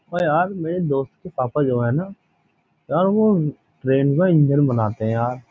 ओ यार मेरे दोस्त के पापा जो है ना यार वह ट्रेन का इंजन बनाते हैं यार --